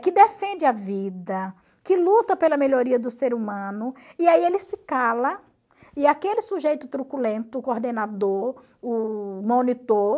que defende a vida, que luta pela melhoria do ser humano, e aí ele se cala, e aquele sujeito truculento, o coordenador, o monitor,